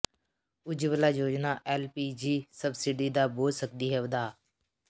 ਉਜਵਲਾ ਯੋਜਨਾ LPG subsidy ਦਾ ਬੋਝ ਸਕਦੀ ਹੈ ਵਧਾ